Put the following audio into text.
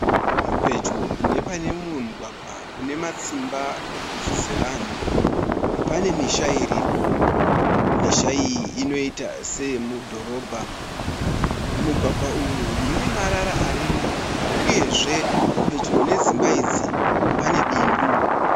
Pedyo nepane mumwe mugwagwa unematsimba ebhutsu dzevanhu pane misha iripo. Misha iyi inoita seye mudhorobha. Mumugwagwa umu mune marara arimo uyezve pedyo nedzimba idzi pane bindu.